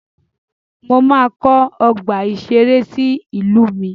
Mo máa kọ́ ọgbà ìṣẹré sí ìlú mi.